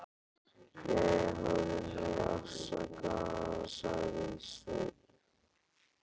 Jæja, hafðu mig afsakaðan, sagði Sveinn.